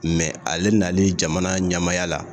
Mɛ ale nalen jamana ɲamaya la